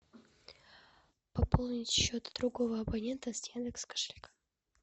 пополнить счет другого абонента с яндекс кошелька